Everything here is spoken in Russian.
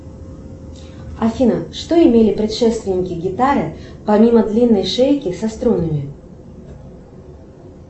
афина что имели предшественники гитары помимо длинной шейки со струнами